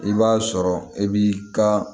I b'a sɔrɔ e b'i ka